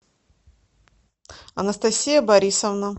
анастасия борисовна